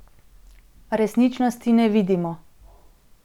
Resničnosti ne vidimo.